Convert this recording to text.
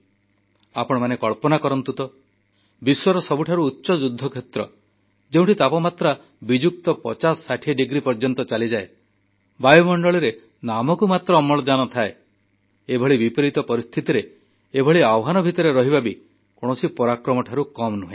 ଆପଣମାନେ କଳ୍ପନା କରନ୍ତୁ ତ ବିଶ୍ୱର ସବୁଠାରୁ ଉଚ୍ଚ ଯୁଦ୍ଧକ୍ଷେତ୍ର ଯେଉଁଠି ତାପମାତ୍ରା ବିଯୁକ୍ତ 5060 ଡିଗ୍ରୀ ପର୍ଯ୍ୟନ୍ତ ଚାଲିଯାଏ ବାୟୁମଣ୍ଡଳରେ ନାମକୁ ମାତ୍ର ଅମ୍ଳଜାନ ଥାଏ ଏଭଳି ପ୍ରତିକୂଳ ପରିସ୍ଥିତିରେ ଏଭଳି ଆହ୍ୱାନ ଭିତରେ ରହିବା ବି କୌଣସି ପରାକ୍ରମଠାରୁ କମ୍ ନୁହେଁ